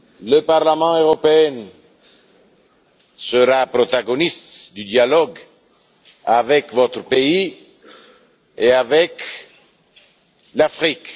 Le Parlement européen sera un protagoniste du dialogue avec votre pays et avec l'Afrique.